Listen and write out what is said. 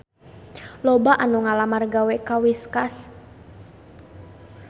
Loba anu ngalamar gawe ka Whiskas